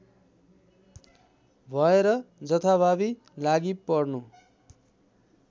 भएर जथाभावी लागीपर्नु